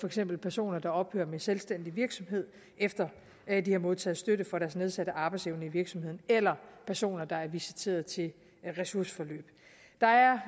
eksempel personer der ophører med selvstændig virksomhed efter at de har modtaget støtte for deres nedsatte arbejdsevne i virksomheden eller personer der er visiteret til ressourceforløb der er